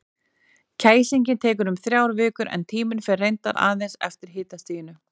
Kæsingin tekur um þrjár vikur, en tíminn fer reyndar aðeins eftir hitastiginu.